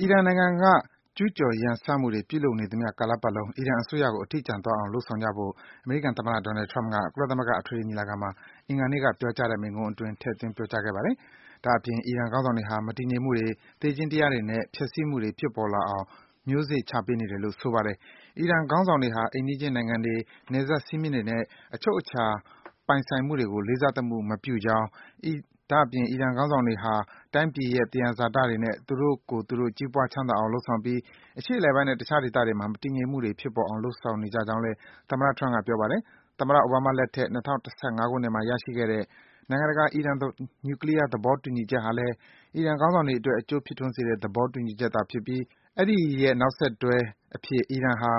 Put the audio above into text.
အီရန်နိုင်ငံက ကျူးကျော် ရန်စမှုတွေ ပြုလုပ်နေသမျှကာလပတ်လုံး အီရန်အစိုးရကို အထီးကျန်သွားအောင် လုပ်ဆောင်ကြဖို့ အမေရိကန်သမ္မတ Donald Trump က ကုလသမဂ္ဂ အထွေထွေညီလာခံမှာ အင်္ဂါနေ့က ပြောကြားတဲ့ မိန့်ခွန်းအတွင်း ထည့်သွင်း ပြောကြားခဲ့ပါတယ်။ ဒါ့အပြင် အီရန်ခေါင်းဆောင်တွေဟာ မတည်ငြိမ်မှုတွေ၊ သေခြင်းတရားတွေနဲ့ ဖျက်ဆီးမှုတွေ ဖြစ်ပေါ်လာအောင် မျိုးစေ့ ချပေးနေတယ်လို့ ဆိုပါတယ်။ အီရန်ခေါင်းဆောင်တွေဟာ အိမ်နီးချင်း နိုင်ငံတွေ၊ နယ်စပ် စည်းမျဉ်းတွေနဲ့ အချုပ်အခြာ ပိုင်ဆိုင်မှုတွေကို လေးစားသမှု မပြုကြောင်း၊ ဒါ့အပြင် အီရန် ခေါင်းဆောင်တွေဟာ တိုင်းပြည်ရဲ့ သယံဇာတတွေနဲ့ သူတို့ကိုယ်သူတို့ ကြီးပွား ချမ်းသာအောင် လုပ်ဆောင်ပြီး အရှေ့အလယ်ပိုင်းနဲ့ တခြား ဒေသတွေမှာ မတည်ငြိမ်မှုတွေ ဖြစ်ပေါ်အောင် လုပ်ဆောင်ကြောင်းလည်း သမ္မတ Trump က ပြောပါတယ်။ သမ္မတ အိုဘားမားလက်ထက် ၂၀၁၅ ခုနှစ်မှာ ရရှိခဲ့တဲ့ နိုင်ငံတကာ အီရန် နျူကလီးယား သဘောတူညီချက်ဟာလည်း အီရန်ခေါင်းဆောင်တွေအတွက် အကျိုးဖြစ်ထွန်းစေတဲ့ သေဘာတူညီချက်ဖြစ်ပြီး အဲဒီရဲ့ နောက်ဆက်တွဲအဖြစ် အီရန်ဟာ